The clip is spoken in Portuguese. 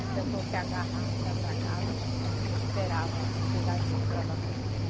E o pessoal se agarrava, se atracava e esperava chegar gente para dar socorro.